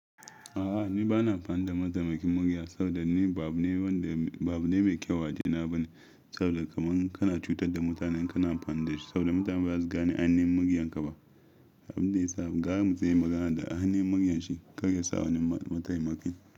A'a ni bana amfani da mataimakin murya saboda ni ba abune wanda ba abune mai kyau a waje na bane saboda kaman kana cutar da mutane kana amfani da shi saboda mutane ba za su gane a ainihin muryanka ba. Abin da ya sa gara mutum yayi magana da a ainihin muryanshi shi kar ya sa wani mataimakin.